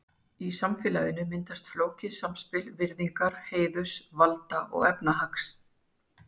Í samfélaginu myndaðist flókið samspil virðingar, heiðurs, valda og efnahags.